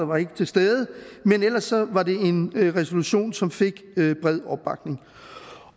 var ikke til stede men ellers var det en resolution som fik bred opbakning